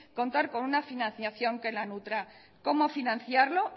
contar con una financiación que la nutra como financiarlo